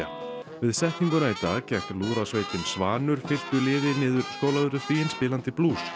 við setninguna í dag gekk lúðrasveitin Svanur fylktu liði niður Skólavörðustíginn spilandi blús